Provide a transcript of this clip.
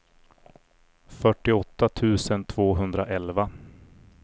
fyrtioåtta tusen tvåhundraelva